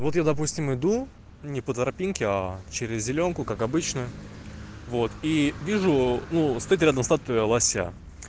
вот я допустим иду не по тропинке а через зелёнку как обычно вот и вижу ну стоит рядом статуя лося